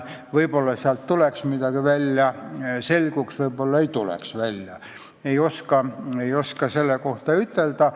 Võib-olla sealt tuleks midagi välja, võib-olla ei tuleks, ei oska ütelda.